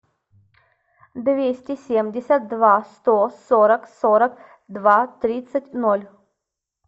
двести семьдесят два сто сорок сорок два тридцать ноль